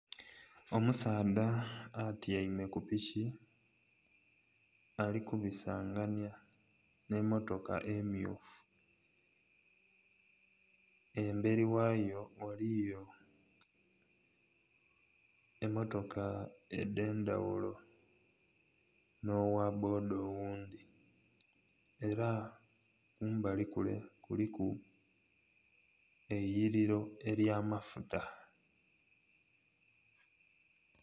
Omusaadha atyaime ku piki ali kubisanganya nh'emmotoka emmyufu. Emberi ghayo ghaliyo emmotoka edh'endhaghulo, nh'ogha bboda oghundhi. Era kumbali kule kuliku eiyiliro ly'amafuta.